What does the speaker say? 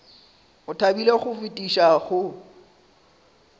o thabile go fetiša go